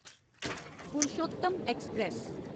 Purushottam express